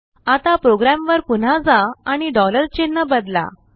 आता प्रोग्रामवर पुन्हा जा आणिचिन्ह बदला